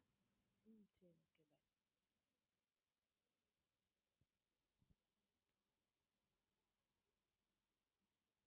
உம் சரி okay